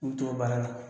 U bɛ t'o baara la